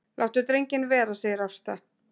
Láttu drenginn vera, segir Ásta.